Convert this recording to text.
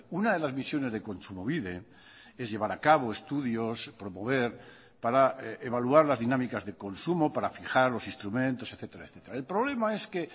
una de las misiones de kontsumobide es llevar a cabo estudios promover para evaluar las dinámicas de consumo para fijar los instrumentos etcétera el problema es que